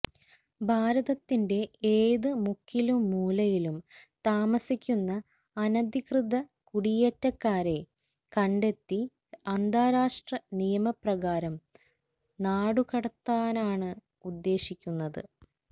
ഭാരതത്തിന്റെ എത് മുക്കിലും മൂലയിലും താമസിക്കുന്ന അനധികൃത കുടിയേറ്റക്കാരെ കണ്ടെത്തി അന്താരാഷ്ട്ര നിയമപ്രകാരം നാടുകടത്താനാണ് ഉദേശിക്കുന്നത്